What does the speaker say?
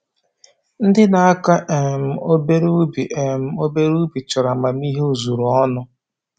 Ndị na-akọ um obere ubi um obere ubi chọrọ amamihe ozuru ọnụ